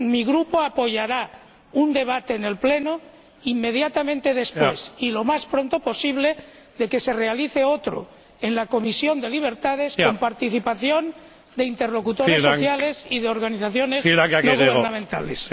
Mi Grupo apoyará un debate en el Pleno inmediatamente después y lo más pronto posible de que se realice otro en la Comisión de Libertades Civiles, con participación de interlocutores sociales y de organizaciones no gubernamentales.